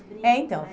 É, então.